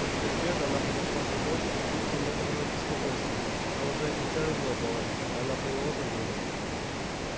после обеда она подошла к окошку с чувством некоторого беспокойства но уже офицера не было и она про него забыла